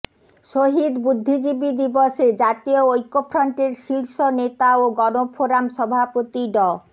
শহীদ বুদ্ধিজীবী দিবসে জাতীয় ঐক্যফ্রন্টের শীর্ষ নেতা ও গণফোরাম সভাপতি ড